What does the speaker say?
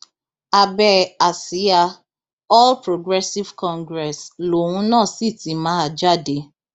abẹ àsíá all progressive congress lòun náà sì ti máa jáde